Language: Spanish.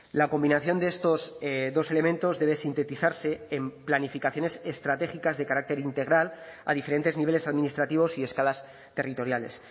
la combinación de estos dos elementos debe sintetizarse en planificaciones estratégicas de carácter integral a diferentes niveles administrativos y escalas territoriales